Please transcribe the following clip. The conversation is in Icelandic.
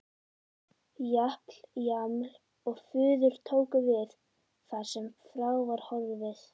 Japl-jaml-og-fuður tóku við þar sem frá var horfið.